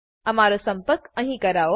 અમારો સંપર્ક ક અહીં કરવો